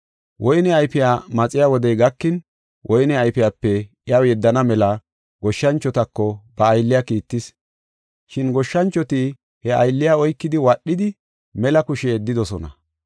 Woyne ayfiya maxiya wodey gakin woyne ayfiyape iyaw yeddana mela goshshanchotako ba aylliya kiittis. Shin goshshanchoti he aylliya oykidi wadhidi mela kushe yeddidosona.